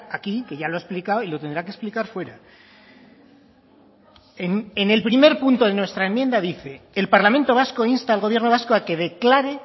aquí que ya lo ha explicado y lo tendrá que explicar fuera en el primer punto de nuestra enmienda dice el parlamento vasco insta al gobierno vasco a que declare